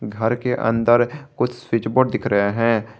घर के अंदर कुछ स्विच बोर्ड दिख रहे हैं।